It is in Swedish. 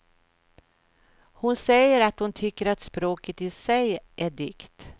Hon säger att hon tycker att språket i sig är dikt.